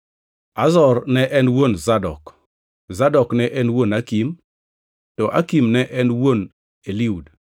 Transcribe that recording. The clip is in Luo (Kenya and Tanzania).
Azor ne en wuon Zadok, Zadok ne en wuon Akim, to Akim ne en wuon Eliud.